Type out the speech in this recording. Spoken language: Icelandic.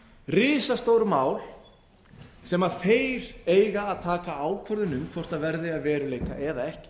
risastór mál sem þeir eiga að taka ákvörðun um hvort verði að veruleika eða ekki